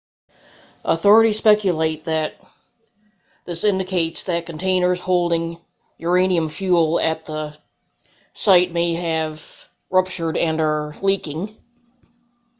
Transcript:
authorities speculate that this indicates that containers holding uranium fuel at the site may have ruptured and are leaking